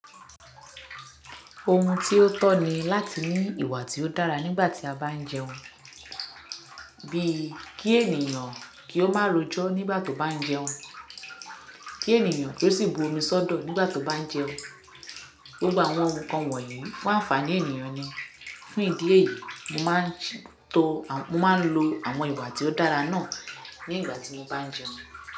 Ohun tí ó tọ́ ni láti ní ìwà tí ó dára nígbà tí a bá ń jẹun. Bíi kí ènìyàn kí ó má rojo nígbà tó bá ń jẹun, kí ènìyàn kí ó sì bu omi sọ́dọ̀ nígbà tó bá ń jẹun. Gbogbo àwọn nnkan wonyi fun anfaani ènìyàn ni. Fún ìdí èyí, mo máa ń to-- mo máa ń lo àwọn ìwà tí ó dára náà nígbà tí mo bá ń jẹun.